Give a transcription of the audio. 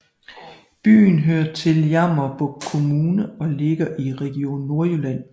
Byen hører til Jammerbugt Kommune og ligger i Region Nordjylland